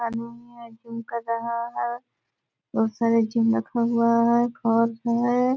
आदमी हैं ड्रिंक कर रहा है। बहुत सारे चीज रखा हुआ है घर है।